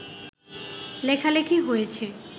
লেখালেখি হয়েছে